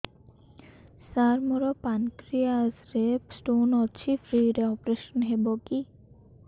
ସାର ମୋର ପାନକ୍ରିଆସ ରେ ସ୍ଟୋନ ଅଛି ଫ୍ରି ରେ ଅପେରସନ ହେବ କି